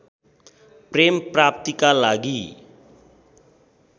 प्रेम प्राप्तिका लागि